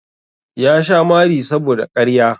Ya sha mari saboda ƙarya.